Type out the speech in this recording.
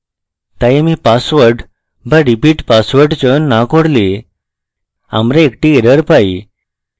তাই আমি password so repeat password চয়ন so করলে আমরা একটি error পাই